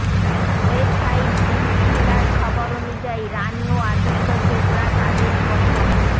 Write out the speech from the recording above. website পিঙ্কভিলার খবর অনুযায়ী রানি ও আদিত্য চোপড়া তাদের প্রথম